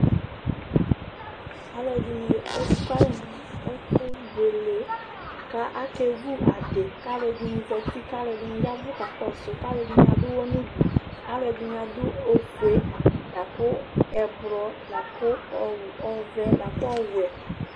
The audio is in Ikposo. Alʋedini ekʋ alɛ nʋ ɛfʋ buele, kʋ akevʋ adi kʋ alʋɛdini zati kʋ alʋɛdini ya ɛvʋ kakɔsʋ, alʋɛdini adʋ ʋwɔ nʋ ʋdʋ, alʋɛdini adʋ ofue, lakʋ ɛblɔ, lakʋ ɔvɛ lakʋ ɔwɛ